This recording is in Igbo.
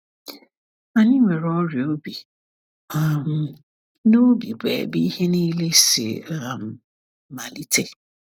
Anyị nwere ọrịa obi, um na obi bụ ebe ihe niile si um malite.